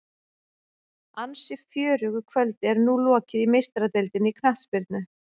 Ansi fjörugu kvöldi er nú lokið í Meistaradeildinni í knattspyrnu.